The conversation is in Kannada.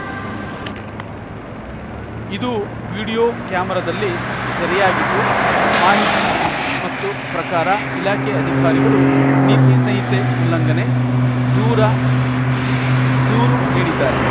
ಇದು ವಿಡಿಯೋ ಕ್ಯಾಮರಾದಲ್ಲಿ ಸೆರೆಯಾಗಿದ್ದು ಮಾಹಿತಿ ಮತ್ತು ಪ್ರಕಾರ ಇಲಾಖೆಯ ಅಧಿಕಾರಿಗಳು ನೀತಿ ಸಂಹಿತೆ ಉಲ್ಲಂಘನೆ ದೂರ ದೂರು ನೀಡಿದ್ದಾರೆ